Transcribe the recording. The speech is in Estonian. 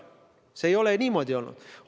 See ei ole niimoodi olnud!